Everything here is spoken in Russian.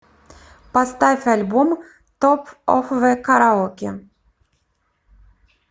поставь альбом топ оф зэ караоке